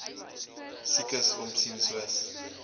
siekes omsien soos